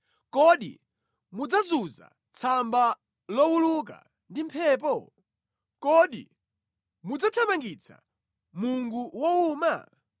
Kodi mudzazunza tsamba lowuluka ndi mphepo? Kodi mudzathamangitsa mungu wowuma?